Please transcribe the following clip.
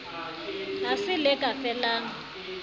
ha se le ka felang